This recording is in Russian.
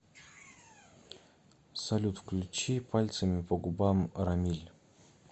салют включи пальцами по губам рамиль